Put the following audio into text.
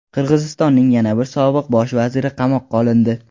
Qirg‘izistonning yana bir sobiq Bosh vaziri qamoqqa olindi.